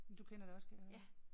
Men du kender det også kan jeg høre